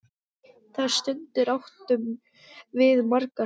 Þær stundir áttum við margar.